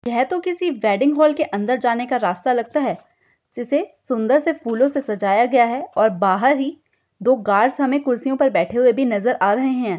यह तो किसी वेडिंग हाल के अंदर जाने का रास्ता लगता है जिसे सुंदर से फूलों से सजाया गया है और बाहर ही दो गार्ड्स हमें कुर्सियों पर बैठे हुए भी नजर आ रहे हैं।